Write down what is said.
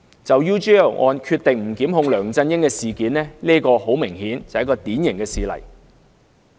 就 UGL 案不檢控梁振英的決定很明顯是個典型事例。